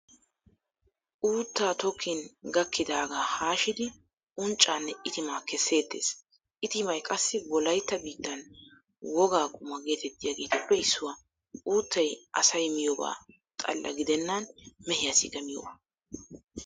Uuttaa tokkin gaakkidaagaa haashidi unccaanne itimaa kesseettees, itimay qassi wolaytta biittan wogaa quma geetettiyaageetuppe issuwaa. Uuttay asay miyooba xalla gidennan mehiyaassikka miyooba.